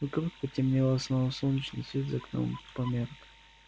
вокруг потемнело словно солнечный свет за окном померк